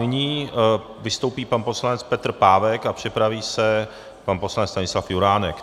Nyní vystoupí pan poslanec Petr Pávek a připraví se pan poslanec Stanislav Juránek.